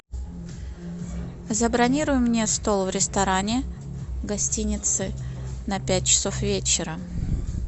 забронируй мне стол в ресторане гостиницы на пять часов вечера